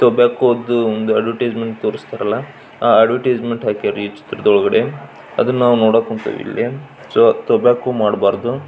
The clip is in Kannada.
ಟೊಬ್ಯಾಕೋ ದು ಒಂದು ಅದ್ವೆರ್ಟಿಸ್ ಮೆಂಟ್ ತೋರ್ಸ್ತಾರಲ್ಲ ಆ ಅದ್ವೆರ್ಟಿಸೆಮೆಂಟ್ ಹಾಕ್ಯಾರ್ ಈ ಚಿತ್ರದೊಳಗೆ ಸೊ ಟೊಬ್ಯಾಕೋ ಮಾಡಬಾರದು--